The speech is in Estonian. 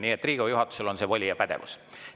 Nii et Riigikogu juhatusel on see voli, see pädevus.